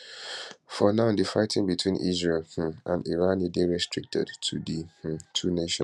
for now difighting between israel um and irandey restricted to di um two nations